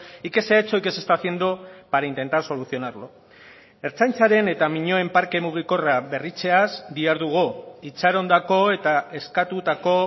y qué se ha hecho y qué se está haciendo para intentar solucionarlo ertzaintzaren eta miñoen parke mugikorra berritzeaz dihardugu itxarondako eta eskatutako